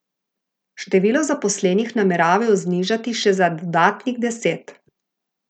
Število zaposlenih nameravajo znižati še za dodatnih deset.